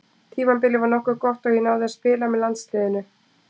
Tímabilið var nokkuð gott og ég náði að spila með landsliðinu.